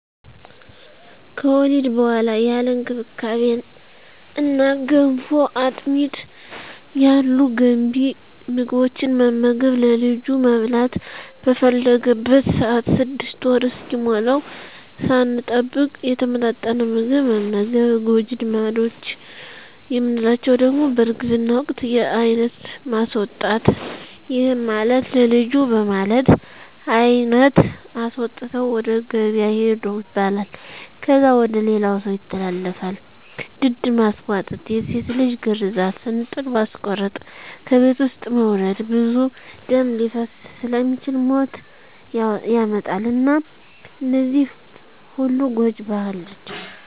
ከወሊድ በኋላ ያለ እንክብካቤ እነ ገንፎ፣ አጥሚት ያሉ ገንቢ ምግቦትን መመገብ፣ ለልጁ መብላት በፈለገበት ሰአት 6 ወር እስኪሞላዉ ሳንጠብቅ የተመጣጠነ ምግብ መመገብ። ጎጂ ልማዶች የምንላቸዉ ደሞ በእርግዝና ወቅት የአይነት ማስወጣት ይህም ማለት ለልጁ በማለት አይነት አስወጥተዉ ወደ ገበያ ሂዱ ይባላል። ከዛ ወደ ሌላ ሰዉ ይተላለፋል፣ ድድ ማስቧጠጥ፣ የሴት ልጅ ግርዛት፣ እንጥል ማስቆረጥ፣ ከቤት ዉስጥ መዉለድ ብዙ ደም ሊፈስ ስለሚችል ሞት ያመጣል እና እነዚህ ሁሉ ጎጂ ባህል ናቸዉ።